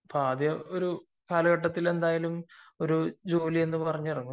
ആദ്യം കാലഘട്ടത്തിൽ എന്തായാലും ഒരു ജോലി എന്ന് പറഞ്ഞു ഇറങ്ങും